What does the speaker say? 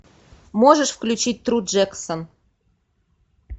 можешь включить тру джексон